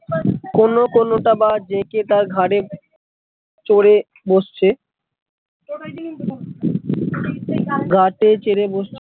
কোনো কোনটা বা জেঁকে তার ঘাড়ে চড়ে বসছে গা তে চড়ে বসছে